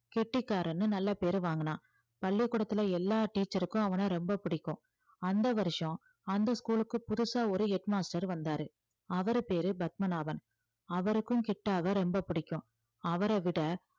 கெட்டிக்காரன்னு நல்ல பேரு வாங்குனான் பள்ளிக்கூடத்துல எல்லா teacher க்கும் அவன ரொம்ப பிடிக்கும் அந்த வருஷம் அந்த school க்கு புதுசா ஒரு head master வந்தாரு அவரு பேரு பத்மநாபன் அவருக்கும் கிட்டாவை ரொம்ப பிடிக்கும் அவரை விட